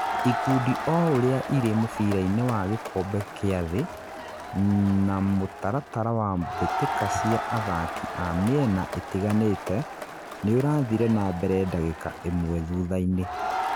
ikundi o ũria irĩ mũbĩra-inĩ wa gĩkombe kĩa thĩ, na mutaratara wa mbĩtika cia athaki a mĩena ĩtiganĩte nĩũrathire na mbere ndagĩka ĩmwe thuthaini